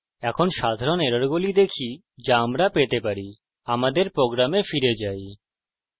এখন সাধারণ এররগুলি দেখি যা আমরা পেতে পারি আমাদের program ফিরে যাই